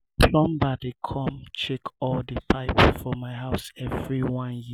plumber dey come check all di pipe for my house every one year.